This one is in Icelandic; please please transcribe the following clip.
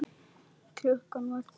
Klukkan var þrjú.